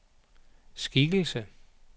skikkelse